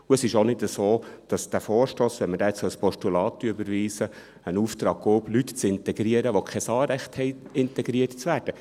Und es ist auch nicht so, dass dieser Vorstoss, wenn wir diesen als Postulat überweisen, einen Auftrag gäbe, Leute zu integrieren, die kein Anrecht hätten, integriert zu werden.